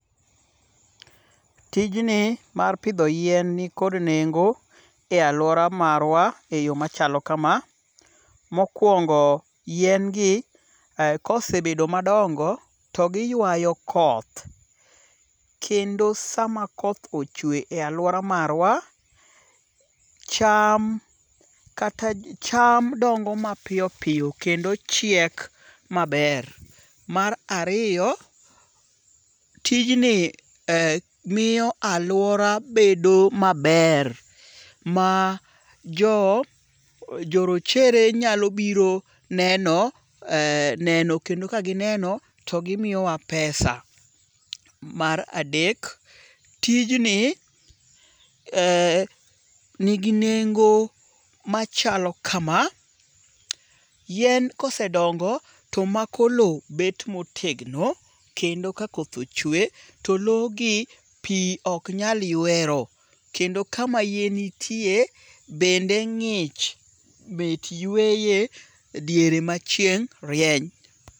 Tijni mar pidho yien ni kod nengo e aluora warwa e yo machalo kama. Mokwongo yien gi kosebedo madongo to giywayo koth. Kendo sama koth ochwe e aluora marwa, cham kata cham dongo mapiyopiyo kendo chiek maber. Mar ariyo, tijni miyo aluora bedo maber ma jo jorochere nyalo biro neno neno kendo ka gineno to gimiyowa pesa. Mar adek, tijni nigi nengo machalo kama. Yien kosedongo tomako lowo bet motegno kendo ka koth ochwe to lowo gi pi ok nyal ywero. Kendo kama yien nitie bende ng'ich mit yweye diere ma chieng' rieny.